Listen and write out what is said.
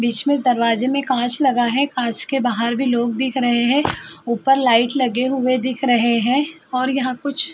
बीच में दरवाजे में काँच लगा है। काँच के बाहर भी लोग दिख रहे हैं। ऊपर लाइट लगे हुए दिख रहे हैं और यहाँ कुछ --